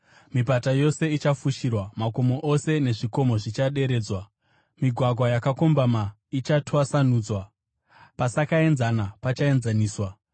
Mipata yose ichafushirwa, makomo ose nezvikomo zvichaderedzwa. Migwagwa yakakombama ichatwasanudzwa, pasakaenzana pachaenzaniswa.